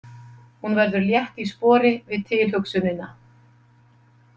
Hún verður létt í spori við tilhugsunina.